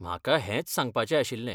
म्हाका हेंच सांगपाचें आशिल्लें.